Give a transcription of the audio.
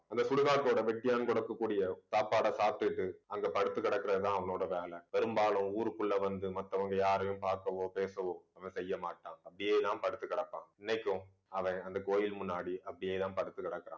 அந்த சுடுகாட்டோட வெட்டியான் கொடுக்கக்கூடிய சாப்பாடை சாப்பிட்டுட்டு அங்க படுத்து கிடக்கிறதுதான் அவனோட வேலை பெரும்பாலும் ஊருக்குள்ள வந்து மத்தவங்க யாரையும் பார்க்கவோ பேசவோ செய்ய மாட்டான் அப்பிடியேதான் படுத்து கிடப்பான் இன்னைக்கும் அவன் அந்த கோயில் முன்னாடி அப்பிடியேதான் படுத்து கிடக்கிறான்